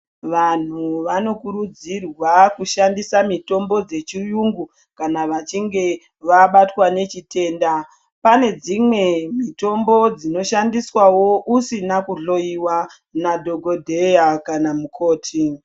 Vanhu vanokurudzirwa kushandisa mutombo dzechiyungu kana vachinge vabatwa nechitenda pane dzimwe mitombo dzinoshandiswawo usina kuhloiwa nadhokodheya kana mukoti.